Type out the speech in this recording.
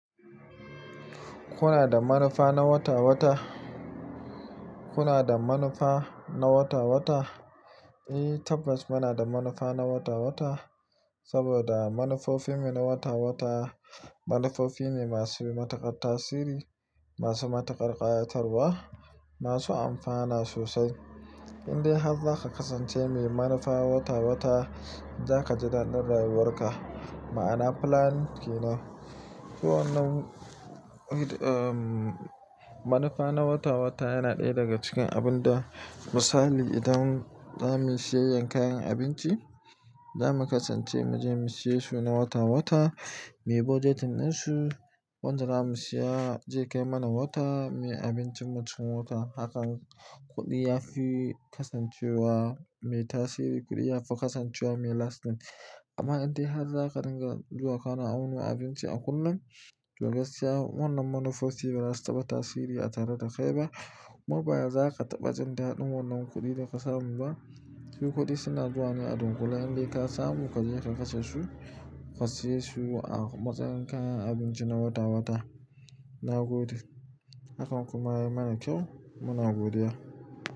Kuna da manufa na wata wata? Kuna da manufa na wata wata? Eh tabbas muna da manufa na wata wata saboda manufofin mu na wata wata, manufofin ne masu matuƙar tasiri, masu matuƙar ƙayatarwa, masu amfana sosai. In dai har za ka kasance mai manufa wata wata, za ka ji daɗin rayuwar ka, ma'ana plan ke ne. Wannan em manufa na wata wata yana ɗaya daga cikin abun da misali idan za muyi siyanyyen kayan abinci, za mu kasance mu je mu siye su na wata wata, muyi budgetin ɗinsu. Wanzu da za mu saya, zai kai mana wata, muyi abincin mu cikin wata. Haka kuɗi ya fi kasancewa mai tasiri, kuɗi ya fi kasancewa mai lastin. Amma in dai har za ka ringa zuwa kana awonwa abinci a kullum, to gaskiya wannan manufofi ba za su taba tasiri a tare da kai ba. Mabaya za ka taɓa jin daɗin wannan kuɗin da ka samu ba. Shi kuɗi suna zuwa ne a dunkule, in dai ka samu ka je ka kashe su, ka siyesu a matsayin kayan abinci na wata wata, na gode. Hakan kuma ya mana kyau, muna godiya.